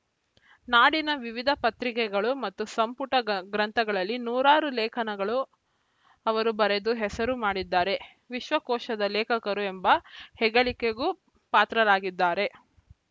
ನಾಡಿನ ವಿವಿಧ ಪತ್ರಿಕೆಗಳು ಮತ್ತು ಸಂಪುಟ ಗ ಗ್ರಂಥಗಳಲ್ಲಿ ನೂರಾರು ಲೇಖನಗಳು ಅವರು ಬರೆದು ಹೆಸರು ಮಾಡಿದ್ದಾರೆ ವಿಶ್ವಕೋಶದ ಲೇಖಕರು ಎಂಬ ಹೆಗ್ಗಳಿಕೆಗೂ ಪಾತ್ರರಾಗಿದ್ದಾರೆ